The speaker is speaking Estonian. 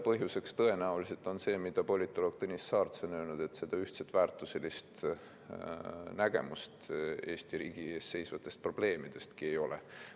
Põhjuseks on tõenäoliselt see, mida politoloog Tõnis Saarts on öelnud, et ühtset väärtuselist nägemust Eesti riigi ees seisvatest probleemidestki ei ole.